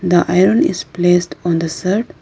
The iron is placed on the shirt.